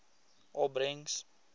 opbrengs